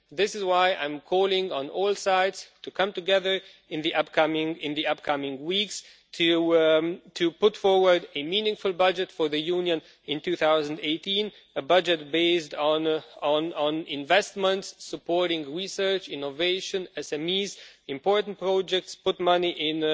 This is why I am calling on all sides to come together in the upcoming weeks to put forward a meaningful budget for the Union in 2018 a budget based on investments, supporting research, innovation, SMEs and important projects to put money in